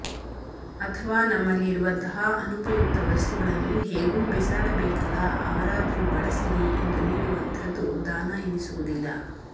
ಅಥವಾ ನಮ್ಮಲ್ಲಿ ಇರುವಂತಹ ಅನುಪಯುಕ್ತ ವಸ್ತುಗಳನ್ನು ಹೇಗೂ ಬಿಸಾಡಬೇಕಲ್ಲ ಅವರಾದರೂ ಬಳಸಲಿ ಎಂದು ನೀಡುವಂಥದ್ದು ದಾನ ಎನಿಸುವುದಿಲ್ಲ